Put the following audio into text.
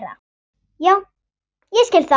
Já ég skil það.